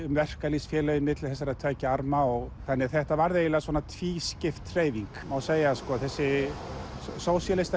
verkalýðsfélögum milli þessara tveggja arma þannig að þetta varð eiginlega tvískipt hreyfing má segja þessi